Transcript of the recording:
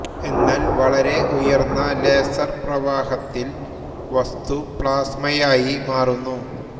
എന്നാൽ വളരെ ഉയർന്ന ലേസർ പ്രവാഹത്തിൽ വസ്തു പ്ലാസ്മയായി മാറുന്നു